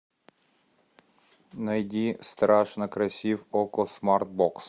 найди страшно красив окко смарт бокс